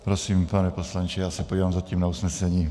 Prosím, pane poslanče, já se podívám zatím na usnesení.